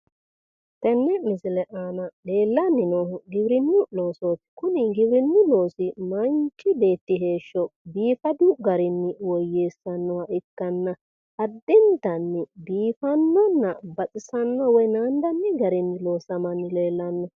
Tenne misile aana leellanni noohu giwirinnu loosooti kuni giwirinnu loosi manchi beetti heeshsho biifadu garinni woyyeessannoha ikkanna addintanni biifannonna baxisanno woy naandanni garinni loosamanni leellnnao.